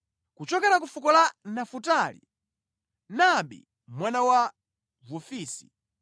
kuchokera ku fuko la Nafutali, Naabi mwana wa Vofisi;